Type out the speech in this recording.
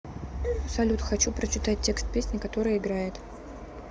салют хочу прочитать текст песни которая играет